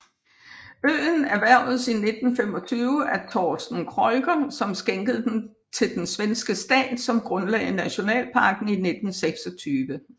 Øen erhvervedes i 1925 af Torsten Kreuger som skænkede den til den Svenske stat som grundlagde nationalparken i 1926